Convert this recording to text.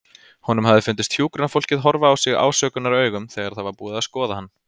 Honum hafði fundist hjúkrunarfólkið horfa á sig ásökunaraugum þegar það var búið að skoða hann.